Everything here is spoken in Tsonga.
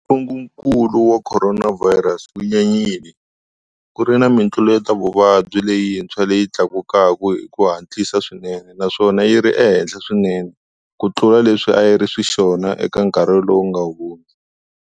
Ntungukulu wa khoronavhayirasi wu nyanyile, ku ri na mitluletavuvabyi leyintshwa leyi tlakukaka hi ku hatlisa swinene naswona yi ri ehenhla swinene kutlula leswi a swi ri xiswona eka nkarhi lowu nga hundza.